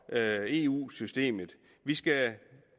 eu systemet vi skal